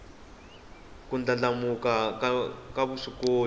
ku ndlandlamuka ka vuswikoti